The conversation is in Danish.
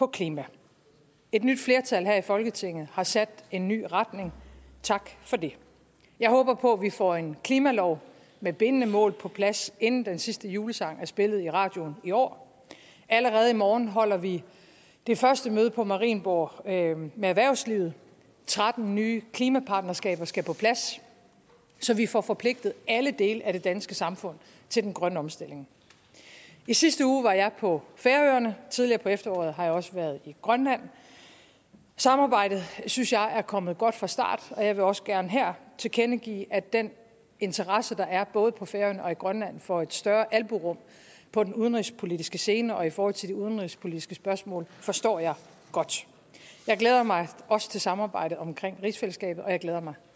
klima et nyt flertal her i folketinget har sat en ny retning tak for det jeg håber på at vi får en klimalov med bindende mål på plads inden den sidste julesang er spillet i radioen i år allerede i morgen holder vi det første møde på marienborg med erhvervslivet tretten nye klimapartnerskaber skal på plads så vi får forpligtet alle dele af det danske samfund til den grønne omstilling i sidste uge var jeg på færøerne og tidligere på efteråret har jeg også været i grønland samarbejdet synes jeg er kommet godt fra start og jeg vil også gerne her tilkendegive at den interesse der er både på færøerne og i grønland for et større albuerum på den udenrigspolitiske scene og i forhold til de udenrigspolitiske spørgsmål forstår jeg godt jeg glæder mig også til samarbejdet omkring rigsfællesskabet og jeg glæder mig